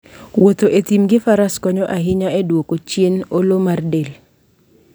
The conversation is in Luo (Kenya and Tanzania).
Wuotho e thim gi faras konyo ahinya e duoko chien olo mar del.